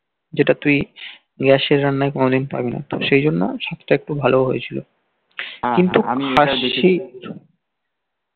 যেটা তুই গ্যাস এর রান্নায় কোনদিন পাবি না সেইজন্য একটু ভালো হয়েছিল কিন্তু খাসি